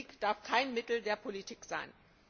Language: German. Krieg darf kein Mittel der Politik sein!